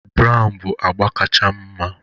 Brown bụ agba kacha m mma